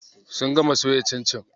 Sun gama soya cincin.